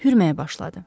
Hürməyə başladı.